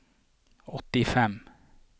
åttifem